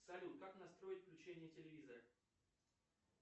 салют как настроить включение телевизора